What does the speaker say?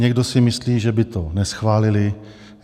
Někdo si myslí, že by to neschválili.